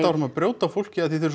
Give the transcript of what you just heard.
áfram að brjóta á fólki af því að þið